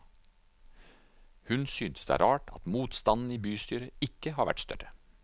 Hun synes det er rart at motstanden i bystyret ikke har vært større.